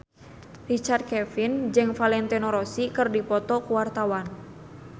Richard Kevin jeung Valentino Rossi keur dipoto ku wartawan